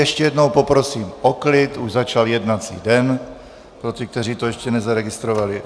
Ještě jednou poprosím o klid, už začal jednací den, pro ty, kteří to ještě nezaregistrovali.